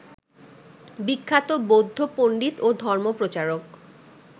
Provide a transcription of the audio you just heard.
বিখ্যাত বৌদ্ধ পন্ডিত ও ধর্মপ্রচারক